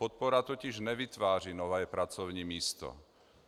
Podpora totiž nevytváří nové pracovní místo.